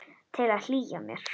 Til að hlýja mér.